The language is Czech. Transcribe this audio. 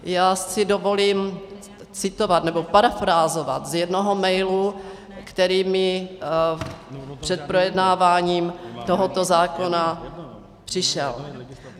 Já si dovolím citovat nebo parafrázovat z jednoho mailu, který mi před projednáváním tohoto zákona přišel.